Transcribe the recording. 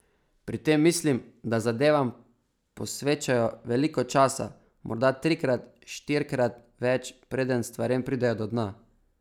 Pri tem mislim, da zadevam posvečajo veliko časa, morda trikrat, štirikrat več, preden stvarem pridejo do dna.